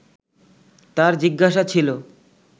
তার জিজ্ঞাসা ছিলো